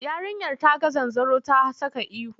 Yarinyar ta ga zanzaro ta saka ihu.